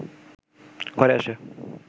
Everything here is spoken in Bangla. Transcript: ঘরে আসে